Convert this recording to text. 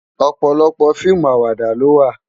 Òpòlòpò fiimú àwàdá ló wá